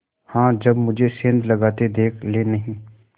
हाँ जब मुझे सेंध लगाते देख लेनहीं